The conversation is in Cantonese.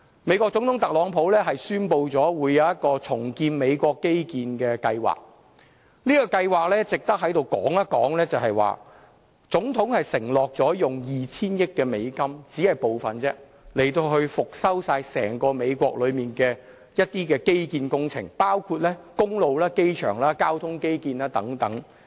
美國總統特朗普宣布將會進行一項重建美國基建的計劃，這項計劃值得在這裏說一說，就是總統承諾用 2,000 億美元，以復修整個美國的基建工程，包括工路、機場和交通基建等。